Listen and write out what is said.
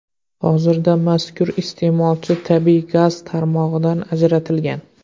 Hozirda mazkur iste’molchi tabiiy gaz tarmog‘idan ajratilgan.